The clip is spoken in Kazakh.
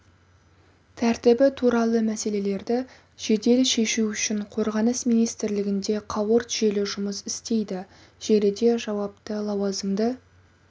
тәртібі туралы мәселелерді жедел шешу үшін қорғаныс министрлігінде қауырт желі жұмыс істейді желіде жауапты лауазымды